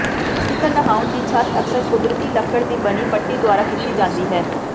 classical ਨਹਾਉਣ ਦੀ ਛੱਤ ਅਕਸਰ ਕੁਦਰਤੀ ਲੱਕੜ ਦੀ ਬਣੀ ਪੱਟੀ ਦੁਆਰਾ ਕੀਤੀ ਜਾਂਦੀ ਹੈ